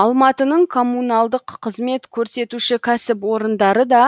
алматының коммуналдық қызмет көрсетуші кәсіпорындары да